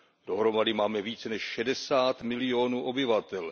Dohromady máme více než šedesát milionů obyvatel.